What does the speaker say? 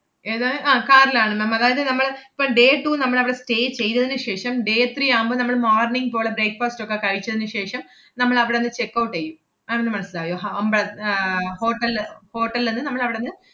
ഏതാണ്? അഹ് car ലാണ് ma'am അതായത് നമ്മള് ~പ്പം day two നമ്മളവടെ stay ചെയ്തതിനു ശേഷം, day three ആവുമ്പം നമ്മള് morning പോളെ breakfast ഒക്കെ കഴിച്ചതിനു ശേഷം നമ്മളവടന്ന് checkout എയ്യും. ma'am ന് മനസ്സിലായോ? ഹ~ അമ്പള~ ആഹ് hotel ല് hotel ന്ന് നമ്മളവടന്ന്,